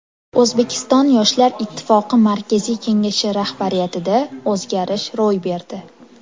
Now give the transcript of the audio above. O‘zbekiston Yoshlar Ittifoqi Markaziy kengashi rahbariyatida o‘zgarish ro‘y berdi.